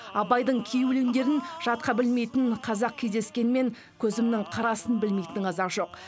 абайдың кей өлеңдерін жатқа білмейтін қазақ кездескенімен көзімнің қарасын білмейтін қазақ жоқ